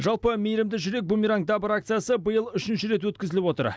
жалпы мейірімді жүрек бумеранг добра акциясы биыл үшінші рет өткізіліп отыр